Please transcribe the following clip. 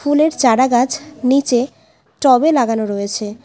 ফুলের চারা গাছ নীচে টব - এ লাগানো রয়েছে।